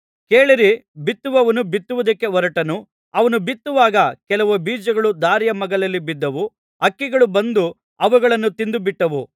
ಕೇಳಿರಿ ಬಿತ್ತುವವನು ಬಿತ್ತುವುದಕ್ಕೆ ಹೊರಟನು ಅವನು ಬಿತ್ತುವಾಗ ಕೆಲವು ಬೀಜಗಳು ದಾರಿಯ ಮಗ್ಗುಲಲ್ಲಿ ಬಿದ್ದವು ಹಕ್ಕಿಗಳು ಬಂದು ಅವುಗಳನ್ನು ತಿಂದು ಬಿಟ್ಟವು